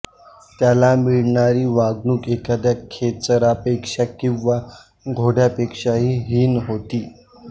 त्याला मिळणारी वागणूक एखाद्या खेचरापेक्षा किंवा घोड्यापेक्षाही हीन होती